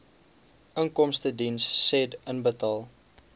inkomstediens said inbetaal